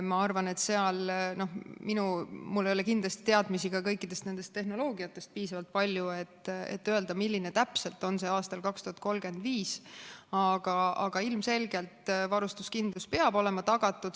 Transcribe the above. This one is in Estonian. Ma arvan, et mul ei ole kindlasti piisavalt palju teadmisi kõikidest nendest tehnoloogiatest, et öelda, milline täpselt on see aastal 2035, aga ilmselgelt peab varustuskindlus olema tagatud.